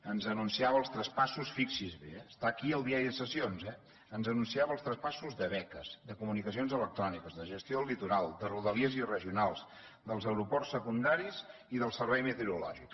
ens anunciava els traspassos fixi’s bé està aquí al diari de sessions eh de beques de comunicacions electròniques de gestió del litoral de rodalies i regionals dels aeroports secundaris i del servei meteorològic